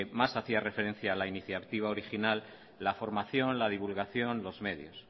más hacía referencia la iniciativa original la formación la divulgación los medios